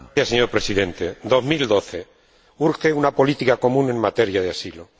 Señor Presidente, 2012 urge una política común en materia de asilo.